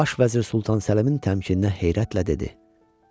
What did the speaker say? Baş vəzir Sultan Səlimin təmkininə heyrətlə dedi: